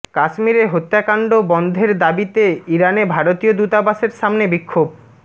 কাশ্মীরে হত্যাকাণ্ড বন্ধের দাবিতে ইরানে ভারতীয় দূতাবাসের সামনে বিক্ষোভ